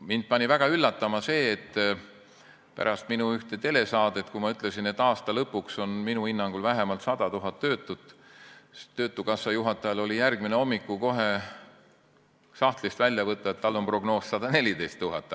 Mind pani väga üllatuma see, et pärast üht telesaadet, kus ma ütlesin, et aasta lõpuks on minu hinnangul vähemalt 100 000 töötut, oli töötukassa juhatajal kohe järgmisel hommikul sahtlist välja võtta prognoos, et neid on 114 000.